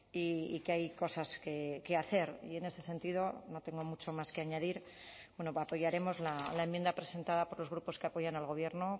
y que hay cosas que hacer y en ese sentido no tengo mucho más que añadir apoyaremos la enmienda presentada por los grupos que apoyan al gobierno